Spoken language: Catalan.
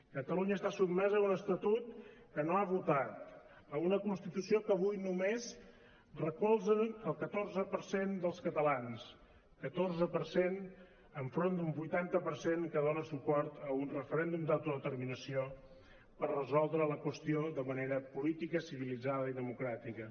catalunya està sotmesa a un estatut que no ha votat a una constitució que avui només recolza el catorze per cent dels catalans catorze per cent enfront d’un vuitanta per cent que dona suport a un referèndum d’autodeterminació per resoldre la qüestió de manera política civilitzada i democràtica